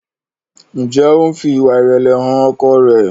Njé o ń fí ìwà irẹlẹ hàn ọkọ rẹ?